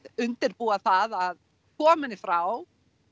undirbúa það að koma henni frá